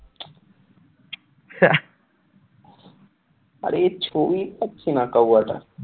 আরে ছবি পাচ্ছিনা কাউয়াটার,